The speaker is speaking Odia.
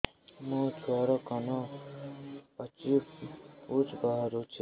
ମୋ ଛୁଆର କାନ ପାଚି ପୁଜ ବାହାରୁଛି